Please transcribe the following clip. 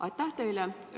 Aitäh teile!